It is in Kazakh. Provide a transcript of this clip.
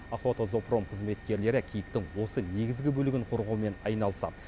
охотзоопром қызметкерлері киіктің осы негізгі бөлігін қорғаумен айналысады